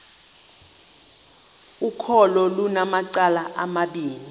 ukholo lunamacala amabini